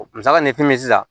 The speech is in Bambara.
Misali ni fɛn min bɛ ye sisan